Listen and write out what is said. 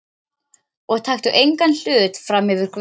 Og taktu engan hlut frammyfir Guð.